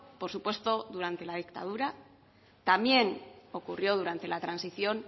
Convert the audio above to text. por supuesto durante la dictadura también ocurrió durante la transición